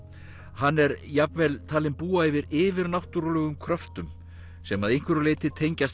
hann er jafnvel talinn búa yfir yfirnáttúrulegum kröftum sem að einhverju leyti tengjast